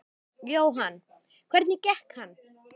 Jóhann: Hvernig gekk hann?